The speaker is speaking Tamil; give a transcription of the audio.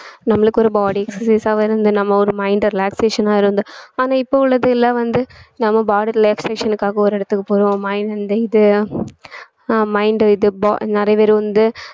நம்மளுக்கு ஒரு body exercise ஆவே இருந்து நம்ம ஒரு mind relaxation ஆ இருந்து ஆனா இப்ப உள்ளது எல்லாம் வந்து நம்ம body relaxation க்காக ஒரு இடத்துக்கு போறோம் mind இது ஆஹ் mind இது bo~ இது நிறைய பேர் வந்து